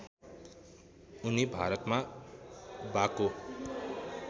उनी भारतमा बाको